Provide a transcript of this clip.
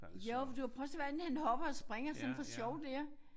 Jo for du kan prøve at se hvordan han hopper og springer sådan for sjov der